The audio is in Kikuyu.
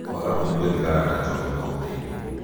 Kwaga kũnyua thigara na Njohi no gũteithie.